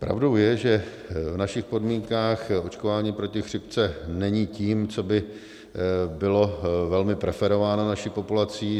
Pravdou je, že v našich podmínkách očkování proti chřipce není tím, co by bylo velmi preferováno naší populací.